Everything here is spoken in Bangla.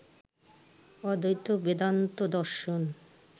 অদ্বৈত বেদান্ত দর্শন